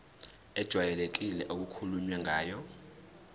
ejwayelekile okukhulunywe ngayo